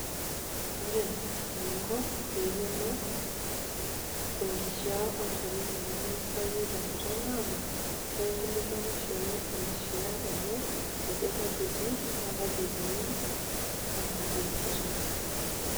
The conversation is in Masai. Ore eningo peiyoluo enkishaa olchore lino limibayie tenkata naabo nainkilikwanishore enkishaa enye ajo kajietii na kaji eikununo naa kanyio easita.